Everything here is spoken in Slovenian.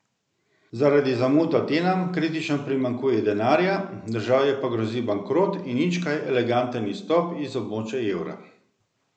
Zaradi zamud Atenam kritično primanjkuje denarja, državi pa grozi bankrot in nič kaj eleganten izstop iz območja evra.